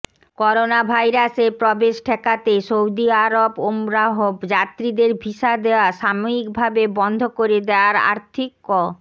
করোনাভাইরাসের প্রবেশ ঠেকাতে সৌদি আরব ওমরাহ যাত্রীদের ভিসা দেয়া সাময়িকভাবে বন্ধ করে দেয়ায় আর্থিক ক